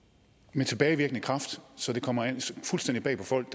med tilbagevirkende kraft så det kommer fuldstændig bag på folk